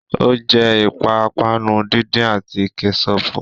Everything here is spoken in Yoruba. Ó jẹ́ ìpápánu díndín àti Kẹ́ṣọpù